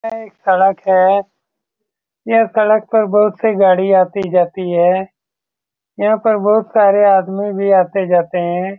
यह एक सड़क है। यह सड़क पर बहुत सी गाड़ी आती-जाती है। यहाँ पर बहुत सारे आदमी भी आते-जाते है।